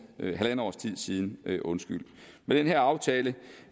siden med den her aftale